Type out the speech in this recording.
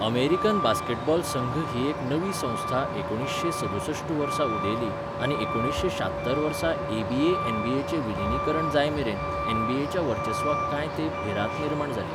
American basketball संघ ही एक नवी संस्था एकुणीसशें सदुसश्ट वर्सा उदेली आनी एकुणीसशें शात्तर वर्सा एबीए एनबीएचें विलीनीकरण जायमेरेन एनबीएच्या वर्चस्वाक कांय तेंप भिरांत निर्माण जाली.